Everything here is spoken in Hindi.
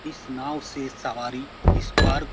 इस नाव से सवारी इस पार --